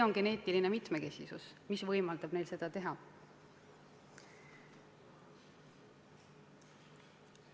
Just geneetiline mitmekesisus võimaldab neil seda teha.